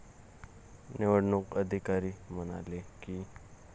निवडणूक अधिकारी म्हणाले की.